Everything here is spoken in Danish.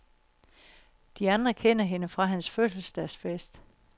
De andre kender hende fra hans fødselsdagsfest.